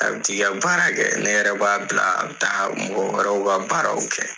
A bɛ jigi ka baara kɛ. Ne yɛrɛ b'a bila a bɛ taa mɔgɔ wɛrɛw bɛ baaraw kɛ.